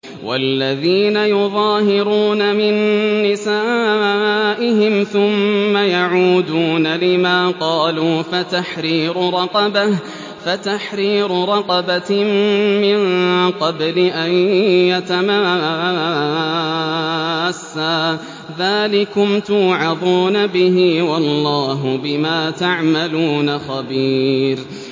وَالَّذِينَ يُظَاهِرُونَ مِن نِّسَائِهِمْ ثُمَّ يَعُودُونَ لِمَا قَالُوا فَتَحْرِيرُ رَقَبَةٍ مِّن قَبْلِ أَن يَتَمَاسَّا ۚ ذَٰلِكُمْ تُوعَظُونَ بِهِ ۚ وَاللَّهُ بِمَا تَعْمَلُونَ خَبِيرٌ